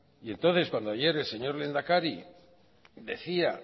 y entonces cuando ayer el señor lehendakari decía